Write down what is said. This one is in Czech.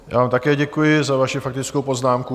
Já vám také děkuji za vaši faktickou poznámku.